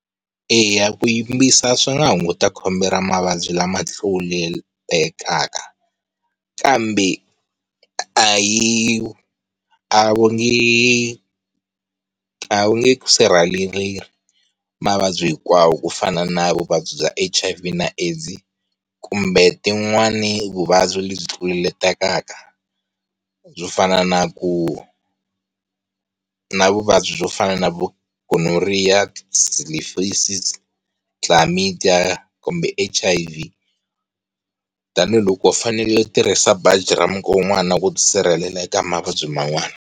Eya ku yimbisa swi nga hunguta khombo ra mavabyi lama tlulelekaka, kambe a hi a va nge a wu nge sirheleri mavabyi hinkwawo ku fana na vuvabyi bya H_I_V na AIDS kumbe tin'wana vuvabyi lebyi tluletelaka byo fana na ku, na vuvabyi byo fana na Gonorrhear, Zelephesiz, Chlamydia kumbe H_I_V tanihiloko u fanele u tirhisa baji ra mukon'wana na ku ti sirhelela eka mavabyi man'wana.